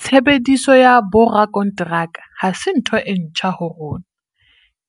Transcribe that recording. Tshebediso ya borakonteraka ha se ntho e ntjha ho rona,